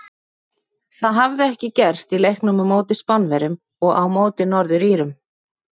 Það hafði ekki gerst í leiknum á móti Spánverjum og á móti Norður Írum.